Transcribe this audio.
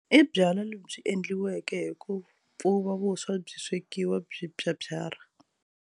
I byalwa lebyi endliweke hi ku pfuva vuswa byi swekiwa byi pyapyara.